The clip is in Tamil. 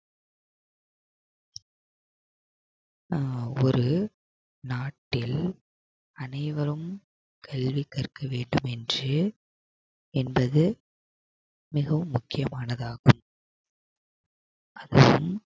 ஒரு நாட்டில் அனைவரும் கல்வி கற்க வேண்டும் என்று என்பது மிகவும் முக்கியமானதாகும் அது